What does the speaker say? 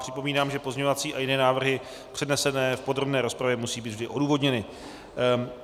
Připomínám, že pozměňovací a jiné návrhy, přednesené v podrobné rozpravě, musí být vždy odůvodněny.